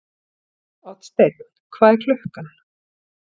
Oddsteinn, hvað er klukkan?